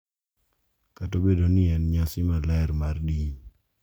Kata obedo ni en nyasi maler mar din .